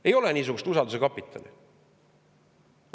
Ei ole niisugust usalduse kapitali.